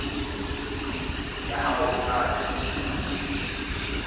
ya hao e tla lekolwa